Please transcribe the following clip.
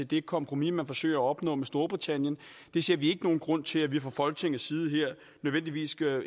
det kompromis man forsøger at opnå med storbritannien vi ser ikke nogen grund til at vi fra folketingets side her nødvendigvis skal